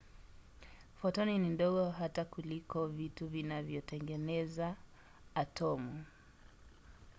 fotoni ni ndogo hata kuliko vitu vinavyotengeneza atomu!